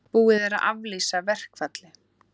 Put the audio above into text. Búið er að aflýsa verkfalli